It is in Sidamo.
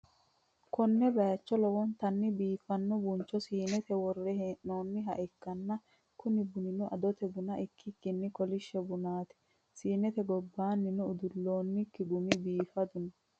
konne bayicho lowontanni biifanno buncho siinete worre hee'noonnihaikkana, kuni bunino adote buna ikkikkinni kolishsho bunaati, siinete gobbannino udullonnikki gumi biifadu no.